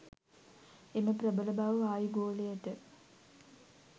එම ප්‍රබල බව වායුගෝලයට